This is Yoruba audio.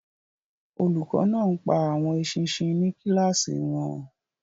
Olùkọ́ náà ń pa àwọn eṣinṣin ní kíláàsì wọn.